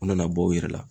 U nana bɔ u yɛrɛ la